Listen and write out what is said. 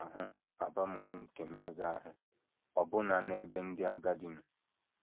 A na - ahụ abamuru nke mmega ahụ ọbụna n’ebe ndị agadi nọ.